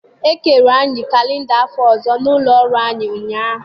E kere anyị kalenda afọ ọzọ n’ụlọ ọrụ anyị ụnyahụ.